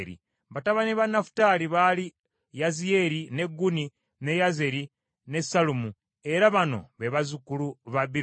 Batabani ba Nafutaali baali Yaziyeri, ne Guni, ne Yezeri ne Sallumu, era bano be bazzukulu ba Biruka.